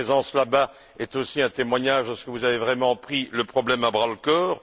Votre présence là bas est aussi un témoignage de ce que vous avez vraiment pris le problème à bras le corps.